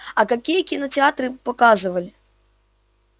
а какие кинокартины показывали